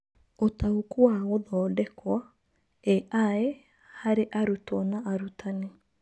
Ũtaũku wa Gũthondekwo (AI) harĩ arutwo na arutani